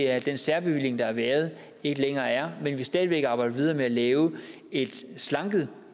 at den særbevilling der har været ikke længere er men at vi stadig væk arbejder videre med at lave et slanket